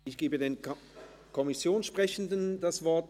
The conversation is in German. Ich gebe den Fraktionssprechenden das Wort.